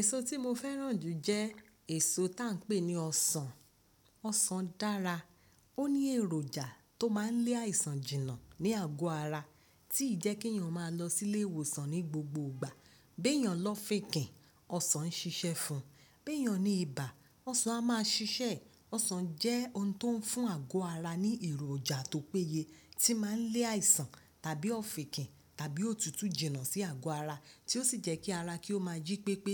Èso tí mo fẹ́ràn jù jẹ́ èso tá ń pè ní ọsàn. Ọsàn dára, ó ní èròjà tó máa ń lé àìsàn jìnà ní àgọ́ ara tí ì jẹ́ kí ènìyàn máa lọ sílé ìwòsàn ní gbogbo ìgbà. Bí ènìyàn lọfìkìn, ọsàn ń ṣiṣẹ́ fún, bí ènìyàn ní ibà, ọsàn a máa ṣiṣẹ́. Ọsàn jẹ́ ohun tó ń fún àgó ara ní èròjà tó péye tí máa ń lé àìsàn tàbí ọ̀fìnkìn tàbí òtútù jìnà sí àgó ara, tí ó sì jẹ́ kí ara kí ó máa jí pé pé,